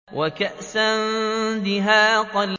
وَكَأْسًا دِهَاقًا